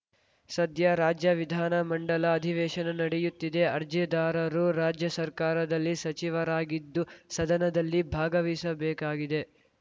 ಸದ್ಯ ರಾಜ್ಯ ವಿಧಾನ ಮಂಡಲ ಅಧಿವೇಶನ ನಡೆಯುತ್ತಿದೆ ಅರ್ಜಿದಾರರು ರಾಜ್ಯ ಸರ್ಕಾರದಲ್ಲಿ ಸಚಿವರಾಗಿದ್ದು ಸದನದಲ್ಲಿ ಭಾಗವಹಿಸಬೇಕಾಗಿದೆ